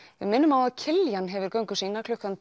við minnum á að Kiljan hefur göngu sína klukkan